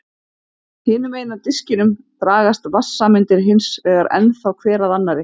Hinum megin á diskinum dragast vatnssameindir hins vegar ennþá hver að annarri.